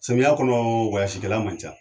Samiyɛ kɔnɔ kɛla man ca